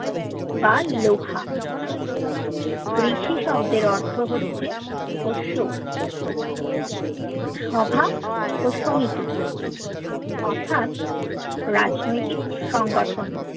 বা লোহা ব্রিশি শব্দর অর্থ হছে পোষোক সভা ও সমিতি অর্থাৎ রাজনৈতিক সংগঠন